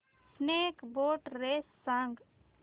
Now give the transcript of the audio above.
snake boat race सांग